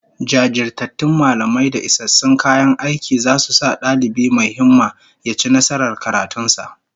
Jajirtattun mallamai da isassun kayan aiki zasu sa dalibi mai himma ya ci nasarar karatun sa